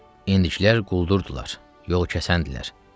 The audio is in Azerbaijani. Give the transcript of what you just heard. İndikilər quldurdular, yol kəsəndilər.